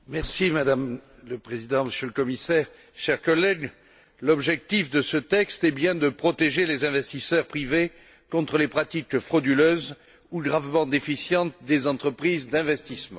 Madame la Présidente, Monsieur le Commissaire, chers collègues, l'objectif de ce texte est bien de protéger les investisseurs privés contre les pratiques frauduleuses ou gravement déficientes des entreprises d'investissement.